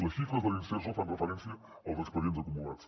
les xifres de l’imserso fan referència als expedients acumulats